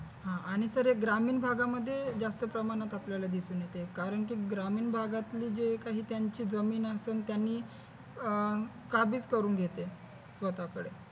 आह आणि सर हे ग्रामीण भागामध्ये जास्त प्रमाणात असलेले दिसून येतं कारण की ग्रामीण भागातले जे काही जमीन असेल त्यांनी अह काबीज करून घेते स्वतःकडे